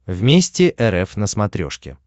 вместе рф на смотрешке